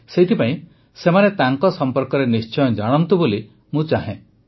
ସେଥିପାଇଁ ସେମାନେ ତାଙ୍କ ସମ୍ପର୍କରେ ନିଶ୍ଚୟ ଜାଣନ୍ତୁ ବୋଲି ମୁଁ ଚାହେଁ